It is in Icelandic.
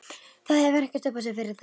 Það hefur ekkert upp á sig fyrir þig.